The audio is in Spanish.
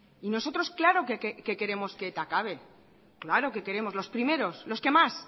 y nosotros claro que queremos que eta acabe claro que queremos los primeros los que más